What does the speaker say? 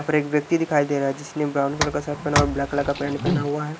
यहां पर एक व्यक्ति दिखाई दे रहा है जिसने ब्राउन कलर का शर्ट पेहना और ब्लैक कलर का पैंट पेहना हुआ है।